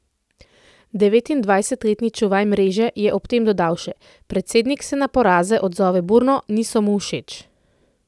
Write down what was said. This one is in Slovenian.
Devetindvajsetletni čuvaj mreže je ob tem dodal še: "Predsednik se na poraze odzove burno, niso mu všeč.